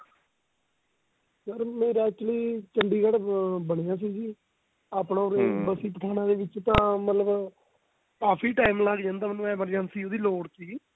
sir ਮੇਰਾ actually Chandigarh ਬਣਇਆ ਸੀ ਆਪਣਾ ਬਸੀ ਪਠਾਣਾ ਵਿੱਚ ਤਾਂ ਮਤਲਬ ਕਾਫੀ time ਲੱਗ ਜਾਂਦਾ ਮੈਨੂੰ emergency ਉਹਦੀ ਲੋੜ ਸੀਗੀ